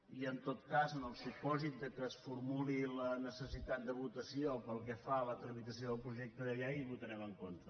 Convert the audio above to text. i en tot cas en el supòsit que es formuli la necessitat de votació pel que fa a la tramitació del projecte de llei hi votarem en contra